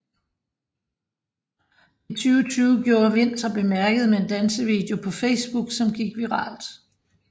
I 2020 gjorde Vind sig bemærket med en dansevideo på Facebook som gik viralt